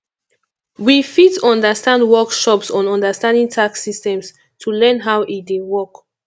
we fit at ten d workshops on understanding tax systems to learn how e dey work